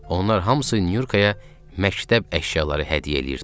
Onlar hamısı Nyurkaya məktəb əşyaları hədiyyə eləyirdilər.